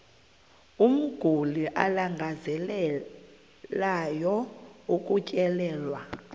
umguli alangazelelayo ukutyelelwa